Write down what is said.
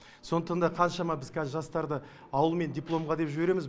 сондықтан да қаншама біз қазір жастарды ауылмен дипломға деп жібереміз